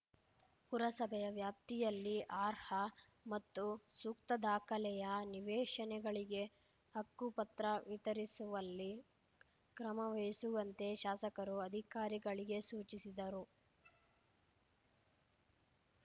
ಪುರಸಭೆಯ ವ್ಯಾಪ್ತಿಯಲ್ಲಿ ಅರ್ಹ ಮತ್ತು ಸೂಕ್ತದಾಖಲೆಯ ನಿವೇಶನಗಳಿಗೆ ಹಕ್ಕುಪತ್ರ ವಿತರಿಸುವಲ್ಲಿ ಕ್ರಮವಹಿಸುವಂತೆ ಶಾಸಕರು ಅಧಿಕಾರಿಗಳಿಗೆ ಸೂಚಿಸಿದರು